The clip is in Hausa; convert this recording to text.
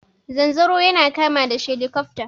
Zanzaro yana kama da shelikofta.